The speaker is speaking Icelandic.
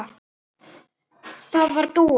Það var Dúa.